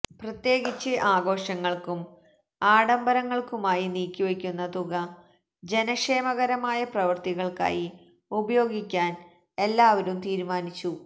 പ്രത്യേകിച്ച് ആഘോഷങ്ങള്ക്കും ആഡംബരങ്ങള്ക്കുമായി നീക്കിവയ്ക്കുന്ന തുക ജനക്ഷേമകരമായ പ്രവര്ത്തനങ്ങള്ക്കായി ഉപയോഗിക്കാന് എല്ലാവരും തീരുമാനിച്ചു